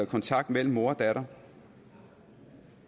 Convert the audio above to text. kontakt mellem mor og datter